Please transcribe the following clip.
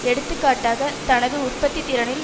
எடுத்துக்காட்டாக தனது உற்பத்தி திறனில்